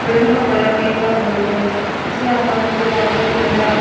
building का colour pink और white है इसके आस पास मुझे बाउंड्री भी नज़र आ --